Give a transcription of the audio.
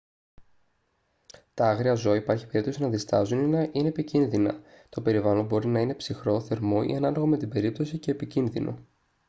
τα άγρια ζώα υπάρχει περίπτωση να διστάζουν ή να είναι επικίνδυνα το περιβάλλον μπορεί να είναι ψυχρό θερμό ή ανάλογα με την περίπτωση και επικίνδυνο